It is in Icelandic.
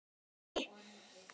En ég skildi hana.